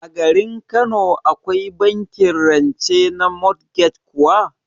A garin Kano Akwai bankin rance na motgej kuwa?